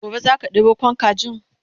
gobe zaka ɗebo Kwan kajin?